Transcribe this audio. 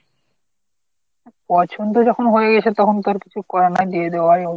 পছন্দ যখন হয়েই গেছে তখন তো আর কিছু করার নেই দিয়ে দেওয়াই উচিত।